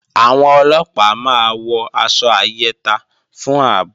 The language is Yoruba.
Àwọn Ọlọ́pàá máa wọ aṣọ ayẹta fún ààbò